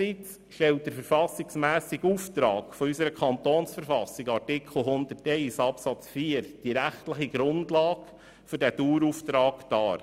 Demgegenüber stellt der Auftrag unserer Verfassung des Kantons Bern (KV) in Artikel 101 Absatz 4 die rechtliche Grundlage für diesen Dauerauftrag dar.